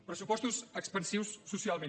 pressupostos expansius socialment